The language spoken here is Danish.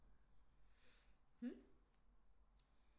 Hmm